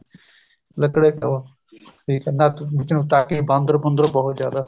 ਲੱਕੜ ਦੇ ਸੀ ਉਹ ਠੀਕ ਹੈ ਵਿੱਚ ਨੂੰ ਬਾਂਦਰ ਬੂੰਦਰ ਬਹੁਤ ਜਿਆਦਾ